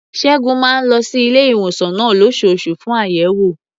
Ṣẹ́gun máa ń lọ sí ilé-ìwòsàn náà lóṣooṣù fún àyẹ̀wò.